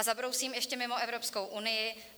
A zabrousím ještě mimo Evropskou unii.